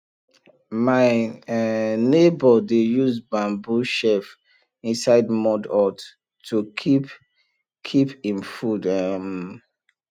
my um neighbour dey use bamboo shelf inside mud hut to keep keep him food um